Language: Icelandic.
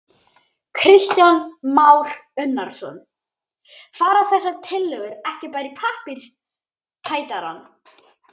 Kristján Már Unnarsson: Fara þessar tillögur ekki bara í pappírstætarann?